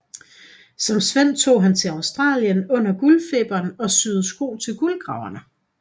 Som svend tog han til Australien under guldfeberen og syede sko til guldgraverne